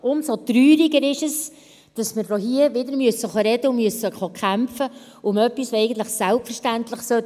Umso trauriger ist es, dass wir hier erneut um etwas kämpfen müssen, das eigentlich selbstverständlich sein sollte.